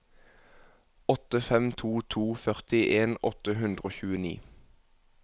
åtte fem to to førtien åtte hundre og tjueni